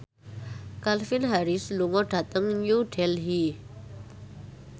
Calvin Harris lunga dhateng New Delhi